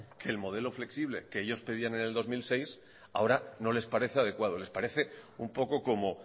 que el modelo flexible que ellos pedían en el dos mil seis ahora no les parece adecuado les parece un poco como